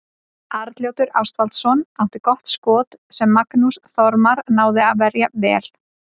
Arnljótur Ástvaldsson átti gott skot sem Magnús Þormar náði að verja vel.